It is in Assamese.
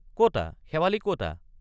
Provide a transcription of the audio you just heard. কতা শেৱালি কতা?